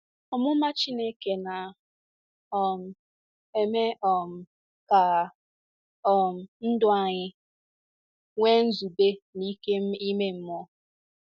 Ọmụma Chineke na - um eme um ka um ndụ anyị nwee nzube na ike ime mmụọ.